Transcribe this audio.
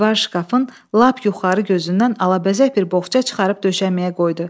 Divar şkafın lap yuxarı gözündən alabəzək bir boğça çıxarıb döşənməyə qoydu.